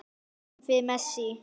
Hvað kom fyrir Messi?